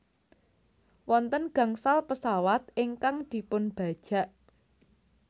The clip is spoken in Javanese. Wonten gangsal pesawat ingkang dipunbajak